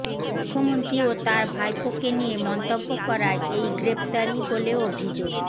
মুখ্যমন্ত্রী ও তাঁর ভাইপোকে নিয়ে মন্তব্য করায় এই গ্রেফতারি বলে অভিযোগ